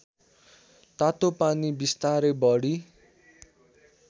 तातोपानी बिस्तारै बढी